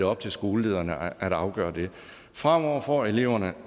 op til skolelederne at afgøre det fremover får eleverne